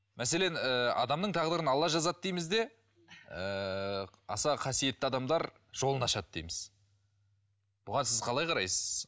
мәселен ы адамның тағдырын алла жазады дейміз де ыыы аса қасиетті адамдар жолын ашады дейміз бұған сіз қалай қарайсыз